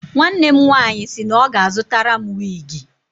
Nwanne m nwaanyị sị na ọ ga-azụtara m wiigi.